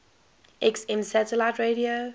xm satellite radio